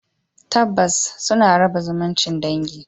Tabbas suna raba zumuncin dangi